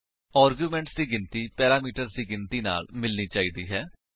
arguments ਦੀ ਗਿਣਤੀ parameters ਦੀ ਗਿਣਤੀ ਨਾਲ ਮਿਲਣੀ ਚਾਹੀਦੀ ਹੈ